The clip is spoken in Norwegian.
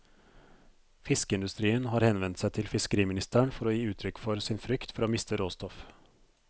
Fiskeindustrien har henvendt seg til fiskeriministeren for å gi uttrykk for sin frykt for å miste råstoff.